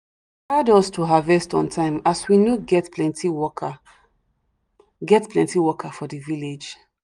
hard us to harvest on time as we no get plenty worker get plenty worker for the village